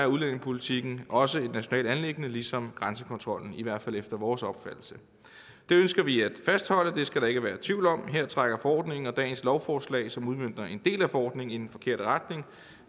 udlændingepolitikken også et nationalt anliggende ligesom grænsekontrollen i hvert fald efter vores opfattelse det ønsker vi at fastholde det skal der ikke være tvivl om her trækker forordningen og dagens lovforslag som udmønter en del af forordningen i den forkerte retning